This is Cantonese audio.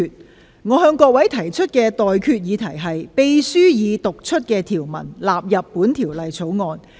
我現在向各位提出的待決議題是：秘書已讀出的條文納入本條例草案。